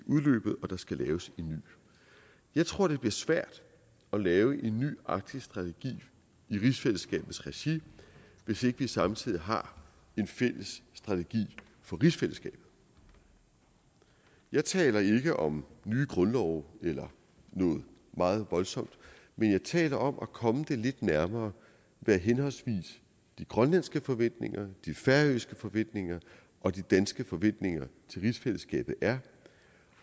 udløbet og der skal laves en ny jeg tror det bliver svært at lave en ny arktisk strategi i rigsfællesskabets regi hvis ikke vi samtidig har en fælles strategi for rigsfællesskabet jeg taler ikke om nye grundlove eller noget meget voldsomt men jeg taler om at komme det lidt nærmere hvad henholdsvis de grønlandske forventninger de færøske forventninger og de danske forventninger til rigsfællesskabet er